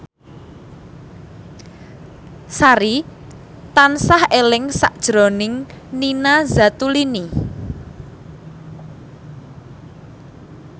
Sari tansah eling sakjroning Nina Zatulini